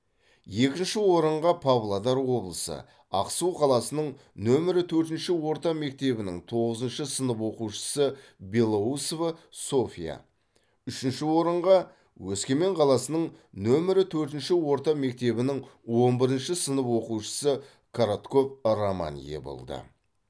екінші орынға павлодар облысы ақсу қаласының нөмірі төртінші орта мектебінің тоғызыншы сынып оқушысы белоусова софья үшінші орынға өскемен қаласының нөмірі төртінші орта мектебінің он бірінші сынып оқушысы коротков роман ие болды